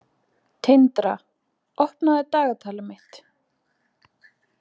Tindra, opnaðu dagatalið mitt.